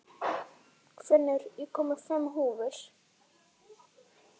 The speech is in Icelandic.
Finnur, ég kom með fimm húfur!